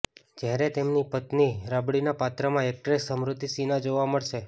જ્યારે તેમની પત્ની રાબડીના પાત્રમાં એકટ્રેસ સ્મૃતિ સિન્હા જોવા મળશે